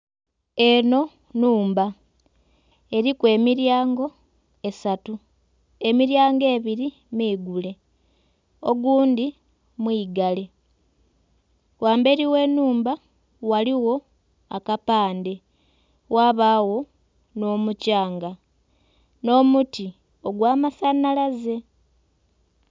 Enho nhumba eriku emiryango esatu, emiryango ebiri miigule ogundhi mwigale, ghamberi ghe nhumba ghaligho akapandhe ghabagho nho'mukyanga nho muti ogwa masanhalaze.